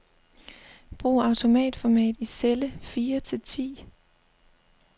Brug autoformat i celle fire til ti.